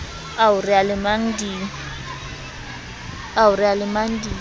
ao re a lemang di